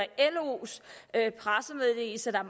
los pressemeddelelse der